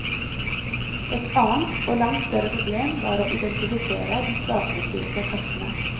Et annet, og langt større problem, var å identifisere de svakerestilte kastene.